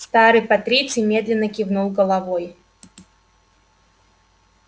старый патриций медленно кивнул головой